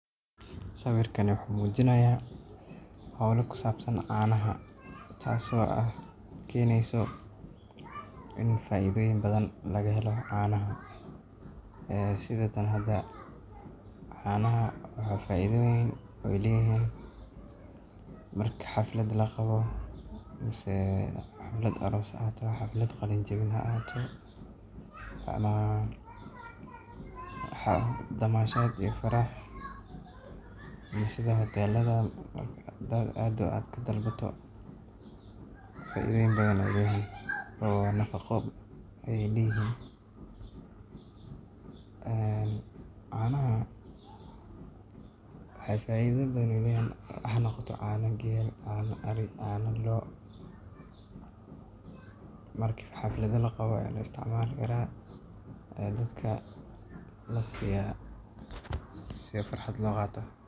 Sawiirkaan wuxuu mujinaaya hoola ku sabsan canaha taas oo keneyso in faidoyin badan laga helo canaha waxeey faidoyin leeyihiin mark xaflad kaqabo danashad iyo faraxad nafaqo ayeey leeyihiin canaha hanoqoto caana geel caana ari caana loo marki xafalad jirto ayaa dadka lasiiya.